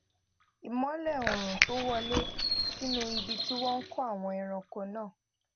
ìmólè oòrùn tó wọlé sínú ibi tí wón kó àwọn ẹrànko náà